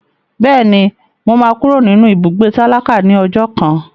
Bẹ́ẹ̀ni, mo máa kúrò nínú ibùgbé tálákà ní ọjọ́ kan.